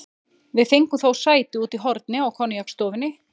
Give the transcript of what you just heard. Við fengum þó sæti úti í horni á koníaksstofunni.